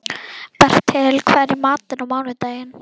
Bertel, hvað er í matinn á mánudaginn?